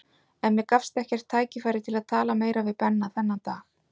En mér gafst ekkert tækifæri til að tala meira við Benna þennan dag.